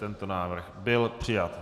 Tento návrh byl přijat.